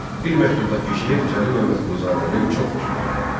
Bir məktubdakı şeir Cəlil Məmmədquluzadənin çox xoşuna gəldi.